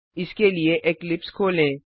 इसके लिए इक्लिप्स खोलें